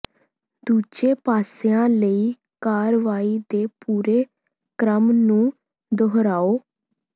ਦੂਜੇ ਪਾਸਿਆਂ ਲਈ ਕਾਰਵਾਈ ਦੇ ਪੂਰੇ ਕ੍ਰਮ ਨੂੰ ਦੁਹਰਾਓ